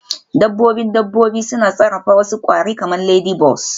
Dabbobin dabbobi suna sarrafa wasu kwari kamar ladybugs